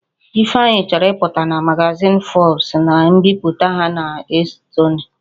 Ifeanyi chọrọ ịpụta na magazin Forbes na mbipụta ha na-esotenụ